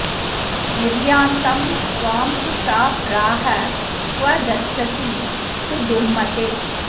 निर्यान्तं त्वां तु सा प्राह क्व गच्छसि सुदुर्मते